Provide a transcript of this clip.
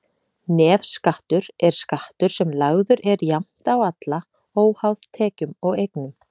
Nefskattur er skattur sem lagður er jafnt á alla, óháð tekjum og eignum.